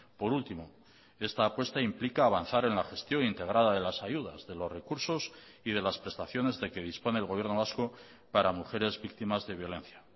por último esta apuesta implica a avanzar en la gestión integrada de las ayudas de los recursos y de las prestaciones de que dispone el gobierno vasco para mujeres víctimas de violencia